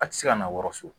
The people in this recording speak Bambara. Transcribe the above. A tɛ se ka na wɔsi